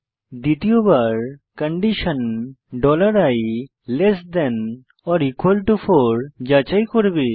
দ্বিতীয়বার condition i less than ওর equal to 4 যাচাই করবে